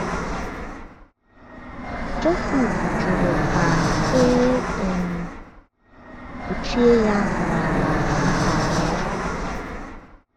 Jọsif jụrụ ka e um kpuchie ya n’ala nkwa ahụ.